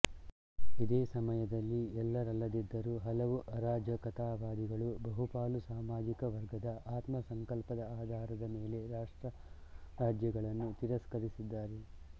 ಇದೆ ಸಮಯದಲ್ಲಿ ಎಲ್ಲರಲ್ಲದಿದ್ದರೂ ಹಲವೂ ಅರಾಜಕತಾವಾದಿಗಳು ಬಹುಪಾಲು ಸಾಮಾಜಿಕ ವರ್ಗದ ಆತ್ಮ ಸಂಕಲ್ಪದ ಆಧರದ ಮೇಲೆ ರಾಷ್ಟ್ರರಾಜ್ಯಗಳನ್ನು ತಿರಸ್ಕರಿಸಿದ್ದಾರೆ